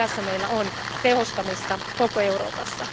Tässä meillä on tehostamista koko Euroopassa.